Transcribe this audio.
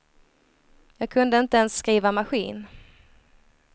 Jag kunde inte ens skriva maskin.